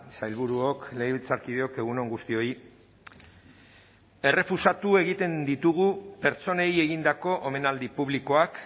sailburuok legebiltzarkideok egun on guztioi errefusatu egiten ditugu pertsonei egindako omenaldi publikoak